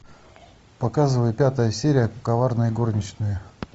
показывай пятая серия коварные горничные